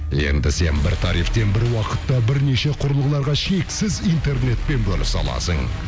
енді сен бір тарифтен бір уақытта бірнеше құрылғыларға шексіз интернетпен бөлісе аласың